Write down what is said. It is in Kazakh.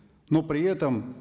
но при этом